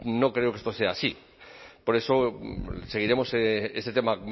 no creo que esto sea así por eso seguiremos este tema